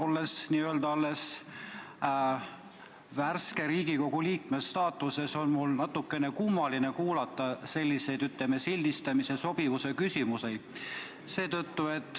Olles n-ö alles värske Riigikogu liikme staatuses, on mul natukene kummaline kuulata selliseid, ütleme, sildistamise ja sobivuse küsimusi.